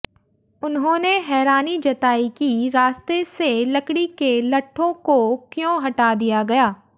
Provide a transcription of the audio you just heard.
उन्होंने हैरानी जताई कि रास्ते से लकड़ी के लट्ठों को क्यों हटा दिया गया